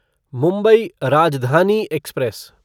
Mumbai Rajdhani express